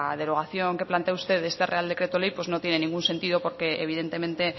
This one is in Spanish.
derogación que plantea usted de este real decreto ley no tiene ningún sentido porque evidentemente